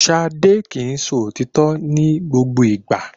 Ṣadé kì í sọ òtítọ́ ní gbogbo ìgbà